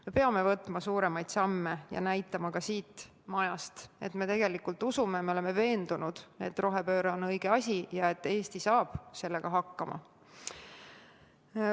Me peame astuma suuremaid samme ja näitama ka siit majast, et me tegelikult usume, oleme veendunud, et rohepööre on õige asi ja et Eesti saab sellega hakkama.